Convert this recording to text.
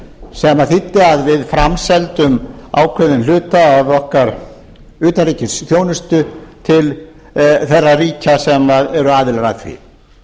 sem þýddi að við framseldum ákveðinn hluta af okkar utanríkisþjónustu til þeirra ríkja sem eru aðilar að því